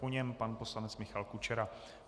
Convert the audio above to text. Po něm pan poslanec Michal Kučera.